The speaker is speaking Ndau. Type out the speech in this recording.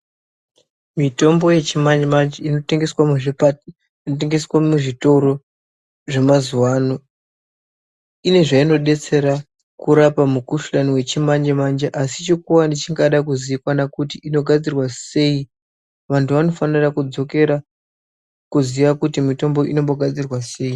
Mitombo yechimanje manje inotengeswe muzvitoro zvemazuwa ano ine zveinidetsera kurapa mukuhlani wechimanje manje asi chikuwane chingade kuzikanwa kuti inogadzirwa sei, vantu vanofanira kudzokera kuziya kuti mitombo inombogadzirwa sei.